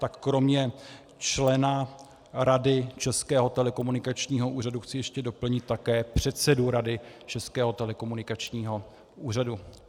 Tak kromě člena rady Českého telekomunikačního úřadu chci ještě doplnit také předsedu rady Českého telekomunikačního úřadu.